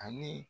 Ani